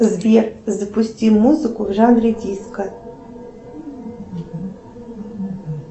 сбер запусти музыку в жанре диско